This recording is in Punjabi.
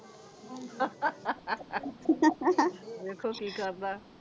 ਵੇਖੋ ਕੀ ਕਰਦਾ?